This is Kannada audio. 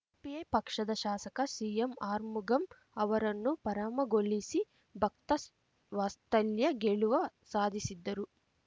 ಪಿಐ ಪಕ್ಷದ ಶಾಸಕ ಸಿಎಂಆರ್ಮುಗಂ ಅವರನ್ನು ಪರಾಮಗೊಳಿಸಿ ಭಕ್ತವಾಸ್ತಲ್ಯ ಗೆಲುವ ಸಾಧಿಸಿದ್ದರು